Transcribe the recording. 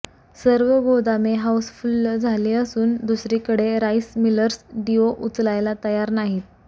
सर्व गोदामे हाऊसफुल्ल झाली असून दुसरीकडे राईस मिलर्स डीओ उचलायला तयार नाही